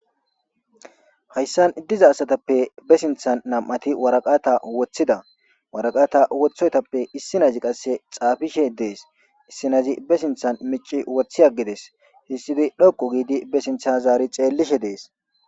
hayssan diza asatappe besinthan nam7ati waraqata woththida waraqata wothoytappe issi nayzi qasse xaafishe dees issinayzi besinthan mici woththi aggides hissidoy dhokqu giidi besintha zaari xeellishe dees